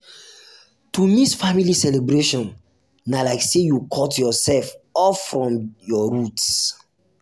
to miss family celebration na like sey you cut yoursef off from your roots.